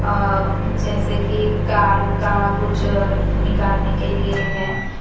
अ जैसे कि कार का कुछ निकालने के लिए है।